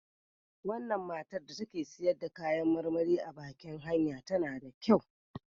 Wannan matan da take siyar da kayan marmari a baƙin hanya tana da kyau.